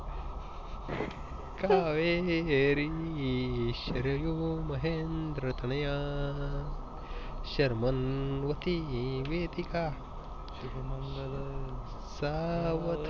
कावेरी शर्यू महेन्द्र तनया शर्मन वती वेदिका